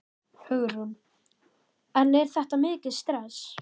Hugrún: En er þetta mikið stress?